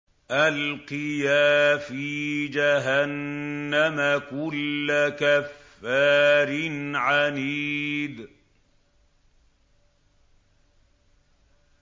أَلْقِيَا فِي جَهَنَّمَ كُلَّ كَفَّارٍ عَنِيدٍ